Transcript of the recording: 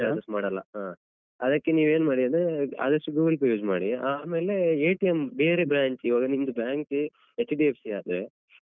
Extra charges ಮಾಡಲ್ಲ ಹಾ ಅದಕ್ಕೆ ನೀವ್ ಏನ್ ಮಾಡಿ ಅಂದ್ರೇ ಆದಷ್ಟು Google Pay use ಮಾಡಿ ಆಮೇಲೆ ಬೇರೆ branch ಈವಾಗ ನಿಮ್ದು bank HDFC ಆದ್ರೆ.